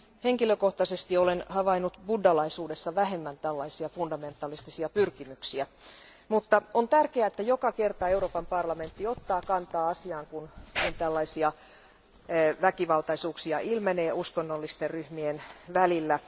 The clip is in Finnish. Henkilökohtaisesti olen havainnut buddhalaisuudessa vähemmän tällaisia fundamentalistisia pyrkimyksiä, mutta on tärkeää, että joka kerta Euroopan parlamentti ottaa kantaa asiaan, kun tällaisia väkivaltaisuuksia ilmenee uskonnollisten ryhmien välillä.